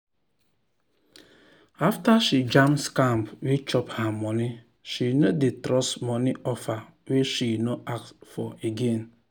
after she jam scam wey chop her money she no dey trust money offer wey she no ask for again.